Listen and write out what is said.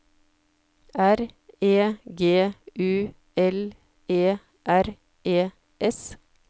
R E G U L E R E S